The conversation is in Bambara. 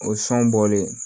O sɔn bɔlen